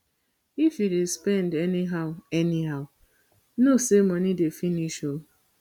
if you dey spend anyhow anyhow know say money dey finish oo